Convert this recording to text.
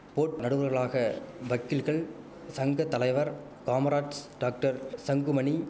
boat நடுவரா நடுவர்களாக வக்கீல்கள் சங்க தலைவர் காமராஜ் டாக்டர் சங்குமணி